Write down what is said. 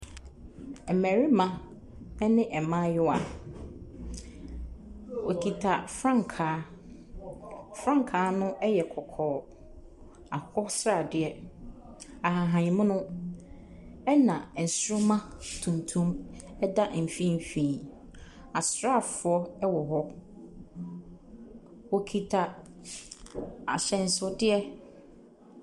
Ɛmbɛrema ɛne ɛmbaayewa, wokita frankaa. Frankaa no ɛyɛ kɔkɔɔ. Akokɔsradeɛ, ahahamono ɛna ɛnsroma tuntum ɛda mfimfini. Asra foɔ ɛwɔ hɔ. Wokita ahyɛsodeɛ.